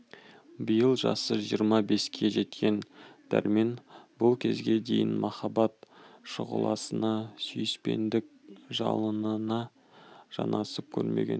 биыл жасы жиырма беске жеткен дәрмен бұл кезге дейін махаббат шұғыласына сүйіспендік жалынына жанасып көрмеген